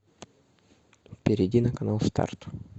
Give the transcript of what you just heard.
перейди на канал старт